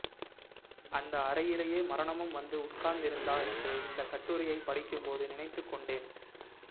அந்த அறையிலே மரணமும் வந்து உட்கார்ந்திருந்ததா என்று இந்தக் கட்டுரையை படிக்கும்போது நினைத்துக்கொண்டேன்